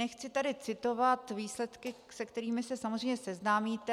Nechci tady citovat výsledky, se kterými se samozřejmě seznámíte.